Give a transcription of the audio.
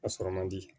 A sɔrɔ man di